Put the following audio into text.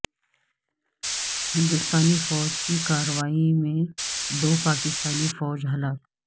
ہندوستانی فوج کی کارروائی میں دو پاکستانی فوجی ہلاک